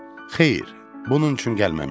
Xeyr, bunun üçün gəlməmişəm.